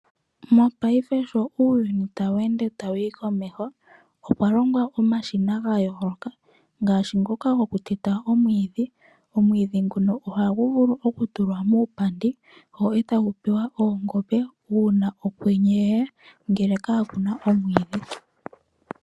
Mopaife sho uuyuni tawu ende tawu yi komeho okwa longwa omashina ga yooloka ngaashi ngoka gokuteta omwiidhi. Omwiidhi ngoka ohagu vulu okutulwa muupandi go e tagu pewa oongombe uuna okwenye kwe ya ngele kapu na omwiidhi.